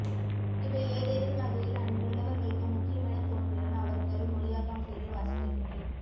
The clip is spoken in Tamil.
இவை ஏதேனும் வகையில் அன்றுள்ளவர்களுக்கு முக்கியமெனத் தோன்றினால் அவர்கள் மொழியாக்கம் செய்து வாசிக்கட்டுமே